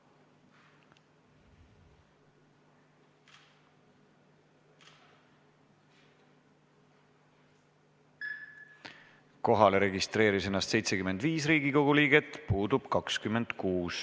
Kohaloleku kontroll Kohalolijaks registreeris ennast 75 Riigikogu liiget, puudub 26.